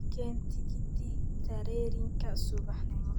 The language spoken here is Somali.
ikeen tikiti terrenka sub nimo